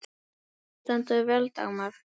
Þú stendur þig vel, Dagmar!